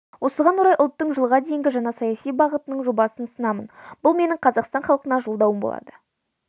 осыған орай ұлттың жылға дейінгі жаңа саяси бағытының жобасын ұсынамын бұл менің қазақстан халқына жолдауым болады